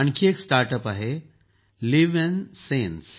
आणखी एक start up आहे लिव्नसेन्स